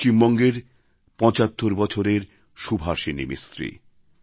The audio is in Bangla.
পশ্চিমবঙ্গের ৭৫ বছরের সুভাষিনী মিস্ত্রী